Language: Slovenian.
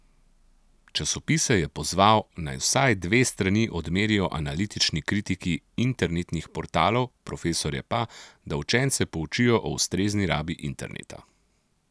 Časopise je pozval, naj vsaj dve strani odmerijo analitični kritiki internetnih portalov, profesorje pa, da učence poučijo o ustrezni rabi interneta.